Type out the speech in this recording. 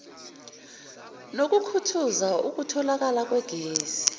nokukhuthaza ukutholakala kwegesi